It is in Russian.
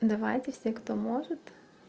давайте все кто может